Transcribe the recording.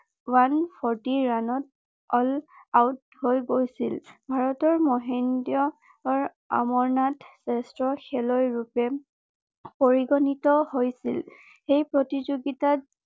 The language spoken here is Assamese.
ওৱান ফৰটি ৰাণত অল আউট হৈ গৈছিল ভাৰতৰ মহেন্দ্ৰ অমৰনাথ জেষ্ঠ্য খেলুৱৈ ৰূপে পৰিগণিত হৈছিল সেই প্ৰতিযোগিতাত